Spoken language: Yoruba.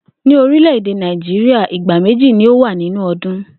Ní orílè̩-èdè Náíjíríà, ìgbà méjì ni ó wà nínú o̩dún